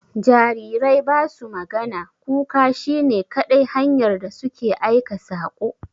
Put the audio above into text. Jarirai ba su magana, kuka shi ne kadai hanyar da su ke aika saƙo.